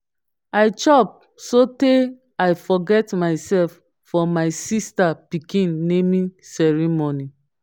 i chop so tey i forget myself for my sister pikin naming ceremony.